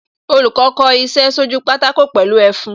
Olùkọ́ kò iṣẹ́ sójú pátákó pẹ̀lú ẹfun